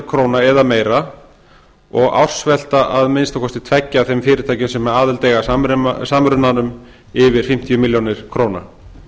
króna eða meira og ársvelta minnsta kosti tveggja þeirra fyrirtækja sem aðild eiga að samrunanum yfir fimmtíu milljónir króna